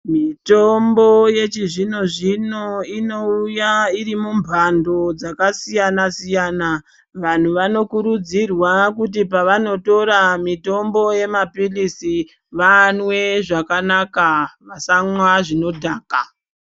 Mitombo yechizvino zvino inouya irimumbando dzakasiyana-siyana, vantu vanokurudzirwa kuti pavanotora mitombo yemaphilisi vanwe zvakanaka vasamwa zvinodhaka.